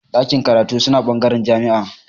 Ɗakin karatu suna bangaren jami'a